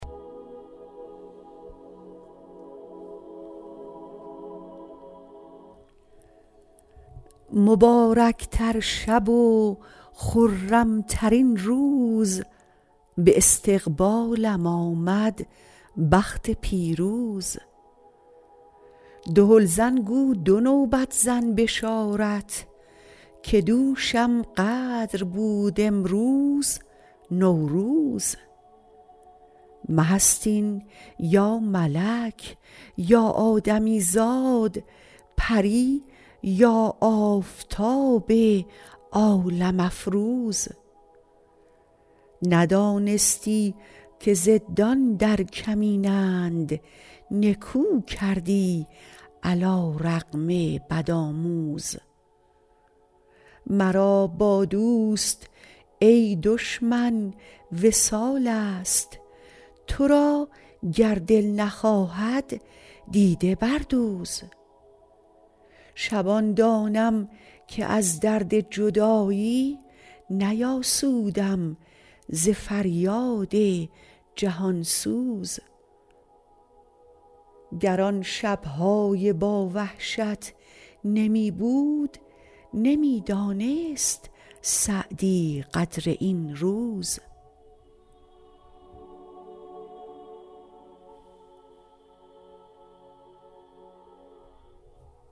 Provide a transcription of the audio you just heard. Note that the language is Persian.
مبارک تر شب و خرم ترین روز به استقبالم آمد بخت پیروز دهل زن گو دو نوبت زن بشارت که دوشم قدر بود امروز نوروز مه است این یا ملک یا آدمی زاد پری یا آفتاب عالم افروز ندانستی که ضدان در کمینند نکو کردی علی رغم بدآموز مرا با دوست ای دشمن وصال است تو را گر دل نخواهد دیده بردوز شبان دانم که از درد جدایی نیاسودم ز فریاد جهان سوز گر آن شب های با وحشت نمی بود نمی دانست سعدی قدر این روز